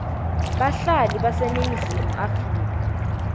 bahlali baseningizimu afrika